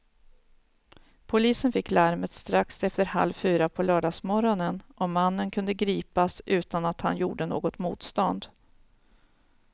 Polisen fick larmet strax efter halv fyra på lördagsmorgonen och mannen kunde gripas utan att han gjorde något motstånd.